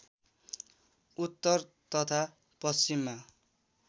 उत्तर तथा पश्चिममा